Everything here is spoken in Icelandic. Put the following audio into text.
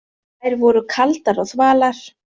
Þær voru kaldar og þvalar.